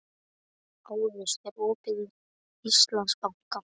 Aris, er opið í Íslandsbanka?